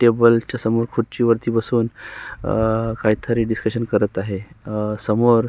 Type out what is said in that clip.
टेबलच्या समोर खुडचीवर बसून काहीतरी डिस्कशन करत आहे समोर--